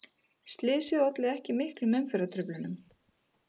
Slysið olli ekki miklum umferðartruflunum